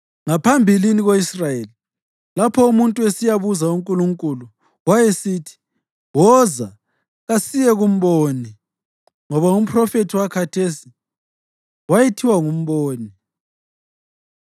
(Ngaphambilini ko-Israyeli, lapho umuntu esiyabuza uNkulunkulu, wayesithi, “Woza, kasiye kumboni,” ngoba umphrofethi wakhathesi wayethiwa ngumboni.)